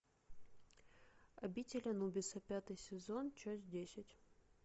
обитель анубиса пятый сезон часть десять